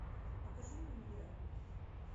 покажи люмьеры